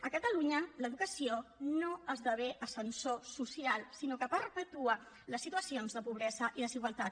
a catalunya l’educació no esdevé ascensor social sinó que perpetua les situacions de pobresa i desigualtat